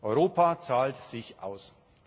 Europa zahlt sich aus.